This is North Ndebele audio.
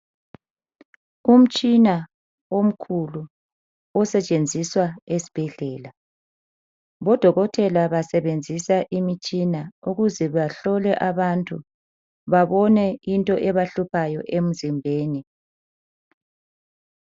Umtshina omkhulu osetshenziswa esibhedlela. Odokotela basebenzisa imitshina ukuze bahlole abantu babone into ebahluphayo emzimbeni.